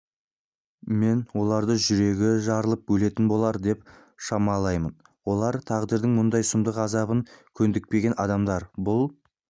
мен оларды жүрегі жарылып өлетін болар деп шамалаймын олар тағдырдың мұндай сұмдық азабына көндікпеген адамдар бұл